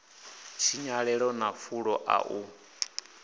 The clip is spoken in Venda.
tshinyalelo na fulo ḽa u